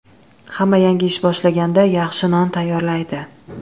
Hamma yangi ish boshlaganda yaxshi non tayyorlaydi.